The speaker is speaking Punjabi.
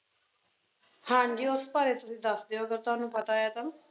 ਹਾਂ ਜੀ, ਉਸ ਬਾਰੇ ਤੁਸੀਂ ਦੱਸ ਦਿਓ, ਅਗਰ ਤੁਹਾਨੂੰ ਪਤਾ ਹੈ ਤਾਂ,